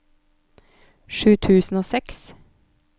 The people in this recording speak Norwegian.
sju tusen og seks